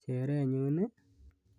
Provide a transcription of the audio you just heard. Cheerenyun i?